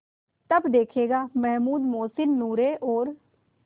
तब देखेगा महमूद मोहसिन नूरे और